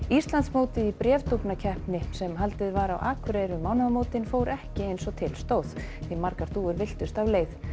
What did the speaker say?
Íslandsmótið í sem haldið var á Akureyri um mánaðamótin fór ekki eins og til stóð því margar dúfur villtust af leið